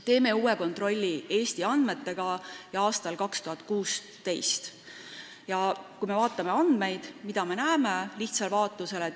Tegime uue kontrolli Eesti andmetega aastal 2016. Mida me näeme lihtsal vaatlusel?